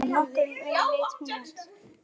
Svona nokkurn veginn leit hún út: